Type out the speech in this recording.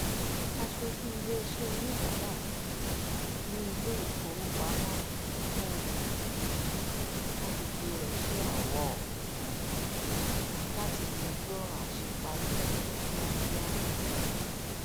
aṣojú iṣẹ oníbàárà ní iléifowopamọ um àgbègbè rẹ ṣèrànwọ um láti yanjú ọràn àṣẹparí náà ní kìákìá